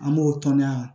An b'o tɔni yan